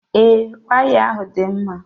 Ee, waya ahụ dị mma.